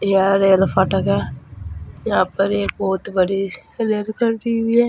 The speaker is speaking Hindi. यह रेल फाटक है। यहां पर एक बोहोत बड़ी रेल खड़ी हुई है।